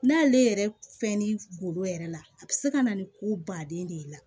N'ale yɛrɛ fɛnnin golo yɛrɛ la a bɛ se ka na ni ko baden de ye la